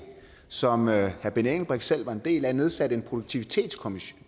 som herre benny engelbrecht selv var en del af nedsatte en produktivitetskommission